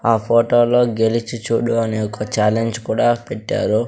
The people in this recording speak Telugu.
ఆ ఫోటోలో గెలిచి చూడు అనే ఒక ఛాలెంజ్ కూడా పెట్టారు.